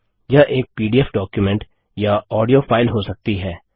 यह एक PDF document या ऑडियो फाइल हो सकती है